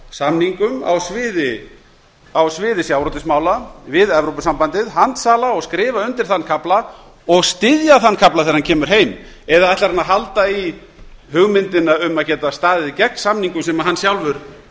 samningum á sviði sjávarútvegsmála við evópusambandið handsala og skrifa undir þann kafla og styðja þann kafla þegar hann kemur heim eða ætlar hann að halda í hugmyndina um að geta staðið gegn samningum sem hann sjálfur